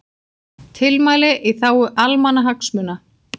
Tilmæli í þágu almannahagsmuna